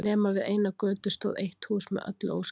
Nema við eina götu stóð eitt hús með öllu óskemmt.